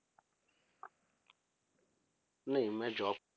ਨਹੀਂ ਮੈਂ job